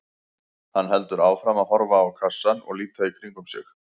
Hann heldur áfram að horfa á kassann og líta í kringum sig.